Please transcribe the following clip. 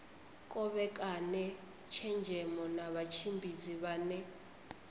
kovhekane tshenzhemo na vhatshimbidzi vhane